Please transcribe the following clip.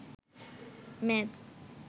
মেদ